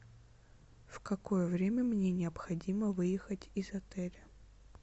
в какое время мне необходимо выехать из отеля